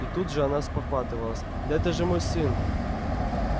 и тут же она спохватывалась да это же мой сын